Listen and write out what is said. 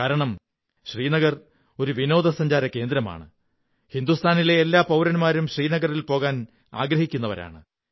കാരണം ശ്രീനഗർ ഒരു വിനോദസഞ്ചാരകേന്ദ്രമാണ് രാജ്യത്തെ എല്ലാ പൌരന്മാരും ശ്രീനഗറിൽ പോകാൻ ആഗ്രഹിക്കുന്നവരാണ്